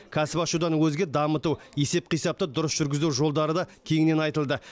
кәсіп ашудан өзге дамыту есеп қисапты дұрыс жүргізу жолдары да кеңінен айтылды